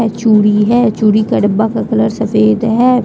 यह चूड़ी है चूड़ी का डब्बा का कलर सफ़ेद है।